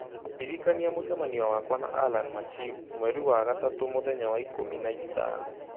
Ndĩrikania mũcemanio wakwa na Allan MachimMweri wa gatatũ mũthenya wa ikũmi na ĩtano